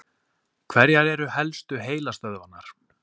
Hverjar eru helstu heilastöðvarnar?